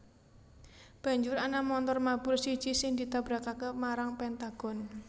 Banjur ana montor mabur siji sing ditabrakaké marang Pentagon